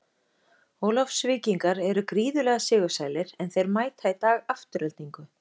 Ólafsvíkingar eru gríðarlega sigursælir, en þeir mæta í dag Aftureldingu.